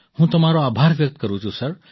હું તમારો આભાર વ્યક્ત કરું છું સર